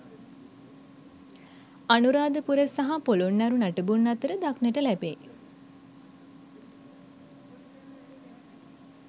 අනුරාධපුර සහ පොළොන්නරු නටබුන් අතර දක්නට ලැබේ.